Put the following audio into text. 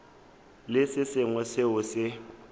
le se sengwe seo se